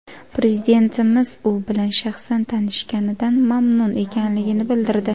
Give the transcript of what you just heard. Prezidentimiz u bilan shaxsan tanishganidan mamnun ekanligini bildirdi.